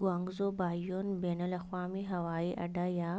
Guangzhou Baiyun بین الاقوامی ہوائی اڈا یا